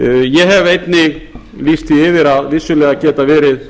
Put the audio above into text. ég hef einnig lýst því yfir að vissulega geta verið